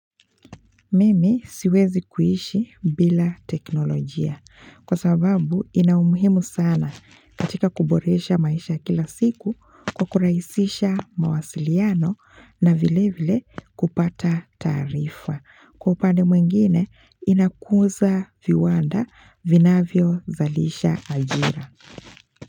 Mimi siwezi kuishi bila teknolojia kwa sababu inaumuhimu sana katika kuboresha maisha kila siku kwa kurahisisha mawasiliano na vile vile kupata taarifa. Kwa upande mwingine inakuza viwanda vinavyo zalisha ajira.